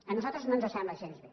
a nosaltres no ens sembla gens bé